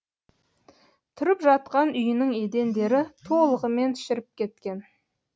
тұрып жатқан үйінің едендері толығымен шіріп кеткен